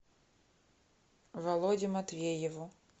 володе матвееву